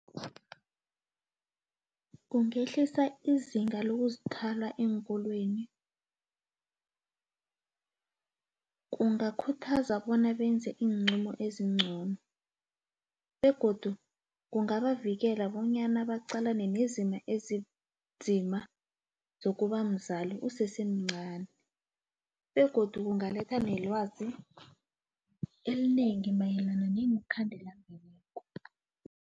Kungehlisa izinga lokuzithwala eenkolweni kungakhuthaza bona benze iinqumo ezingcono begodu kungabavikela bonyana baqalane nezimo ezinzima zokuba mzali usesemncani begodu kungaletha nelwazi elinengi mayelana ngeenkhandelambeleko.